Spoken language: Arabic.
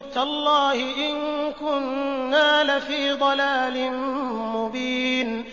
تَاللَّهِ إِن كُنَّا لَفِي ضَلَالٍ مُّبِينٍ